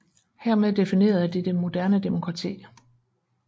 Hermed definerede de det moderne demokrati